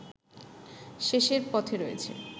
শেষের পথে রয়েছে